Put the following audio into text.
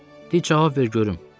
De cavab ver görüm.